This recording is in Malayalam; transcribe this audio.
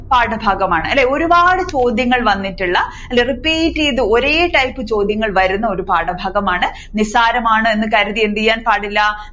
പാഠഭാഗമാണ് അല്ലേ ഒരുപാട് ചോദ്യങ്ങൾ വന്നിട്ടുള്ള അല്ലേ repeat യ്തു ഒരേ type ചോദ്യങ്ങൾ വരുന്ന ഒരു പാഠഭാഗമാണ് നിസ്സാരമാണ് എന്ന് കരുതി എന്ത് ചെയ്യാൻ പാടില്ല